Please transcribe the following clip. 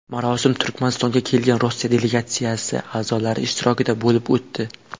Marosim Turkmanistonga kelgan Rossiya delegatsiyasi a’zolari ishtirokida bo‘lib o‘tdi.